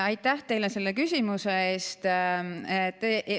Aitäh teile selle küsimuse eest!